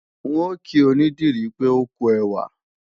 N ò kí onídìrí pé ókú ẹwà